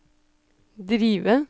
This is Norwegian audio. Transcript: drive